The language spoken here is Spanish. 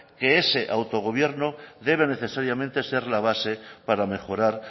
que ese autogobierno debe necesariamente ser la base para mejorar